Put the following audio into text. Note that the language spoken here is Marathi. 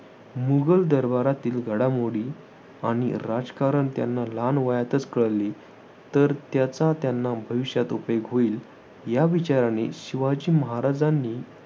मुघल दरबारातील घडामोडी आणि राजकारण त्यांना लहान वयातच कळले तर त्याचा त्यांना भविष्यात उपयोग होईल या विचाराने शिवाजी महाराजांनी